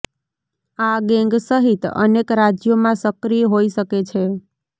આ ગેંગ સહિત અનેક રાજ્યોમાં સક્રિય હોઈ શકે છે